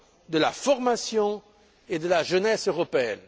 de la formation et de la jeunesse européenne.